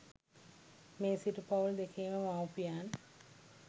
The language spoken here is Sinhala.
මේ සිටු පවුල් දෙකේම මවුපියන්